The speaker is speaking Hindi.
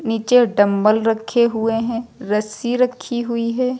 नीचे डंबल रखे हुए हैं रस्सी रखी हुई है।